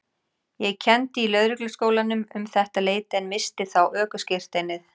Ég kenndi í Lögregluskólanum um þetta leyti en missti þá ökuskírteinið.